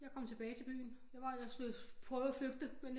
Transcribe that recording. Jeg kom tilbage til byen jeg prøvede at flygte men